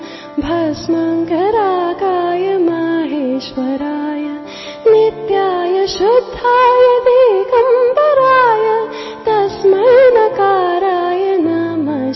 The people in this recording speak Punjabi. MKB EP 105 audio byte 1